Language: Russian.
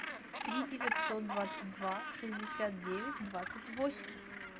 три девятьсот двадцать два шестьдесят девять двадцать восемь